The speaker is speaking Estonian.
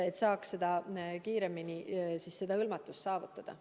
Eesmärk on ju kiiremini vajalik hõlmatus saavutada.